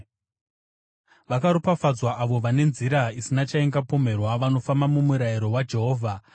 Vakaropafadzwa avo vane nzira isina chaingapomerwa, vanofamba mumurayiro waJehovha.